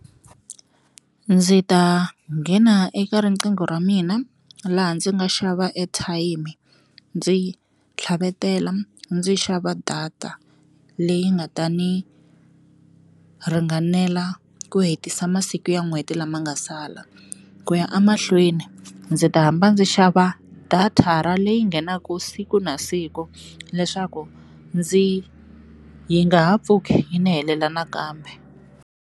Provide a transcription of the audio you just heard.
Ndzi ta nghena eka riqingho ra mina laha ndzi nga xava airtime ndzi tlhavetela ndzi xava data leyi nga ta ni ringanela ku hetisa masiku ya n'hweti lama nga sala ku ya amahlweni ndzi ta hamba ndzi xava data ra leyi nghenaka siku na siku leswaku ndzi yi nga ha pfuki yi ni helela nakambe.